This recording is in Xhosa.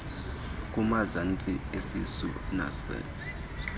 kumazantsi esisu nas